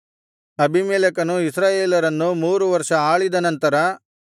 ಅಬೀಮೆಲೆಕನು ಇಸ್ರಾಯೇಲರನ್ನು ಮೂರು ವರ್ಷ ಆಳಿದ ನಂತರ